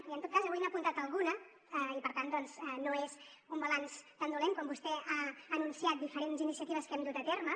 i en tot cas avui n’ha apuntat alguna i per tant doncs no és un balanç tan dolent quan vostè ha anunciat diferents iniciatives que hem dut a terme